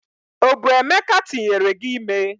o bu emeka tinyere gi ime?